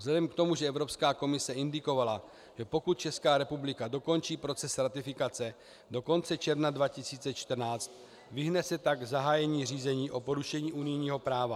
Vzhledem k tomu, že Evropská komise indikovala, že pokud Česká republika dokončí proces ratifikace do konce června 2014, vyhne se tak zahájení řízení o porušení unijního práva.